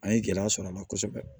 An ye gɛlɛya sɔrɔ a la kosɛbɛ